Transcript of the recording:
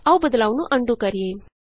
ਆਉ ਬਦਲਾਉ ਨੂੰ ਅਨਡੂ ਕਰੀਏ